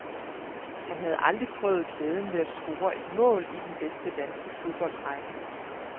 Han havde aldrig prøvet glæden ved at score et mål i den bedste danske fodboldrække.